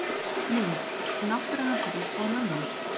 Mynd: Náttúruhamfarir og mannlíf